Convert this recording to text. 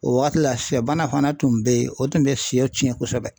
O waati la sɛ bana fana tun be yen o tun bɛ fiyɛ tiɲɛ kosɛbɛ.